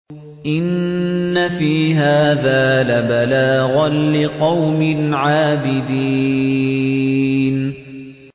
إِنَّ فِي هَٰذَا لَبَلَاغًا لِّقَوْمٍ عَابِدِينَ